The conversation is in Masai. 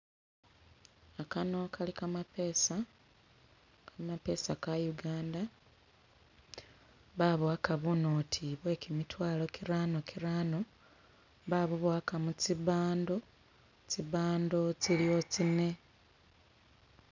Gano gali gamapeesa, gamapeesa ga Uganda babowaga bunoti bwe gimitwalo girano girano babubwowaga mu tsi'bundle, tsi'bundle tsiliwo tsine.